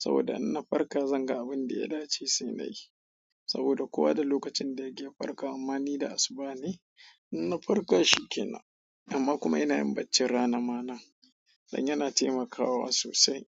Saboda in na farka zan ga abin da ya dace sai na yi. Saboda kuwa da lokacin da yake farkawa mana da asuba ne, in na farka shi ke nan. Amma kuma ina yin bacci rana mana dan yana taimakawa sosai.